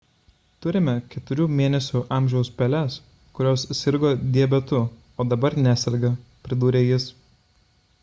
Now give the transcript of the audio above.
turime 4 mėnesių amžiaus peles kurios sirgo diabetu o dabar neserga – pridūrė jis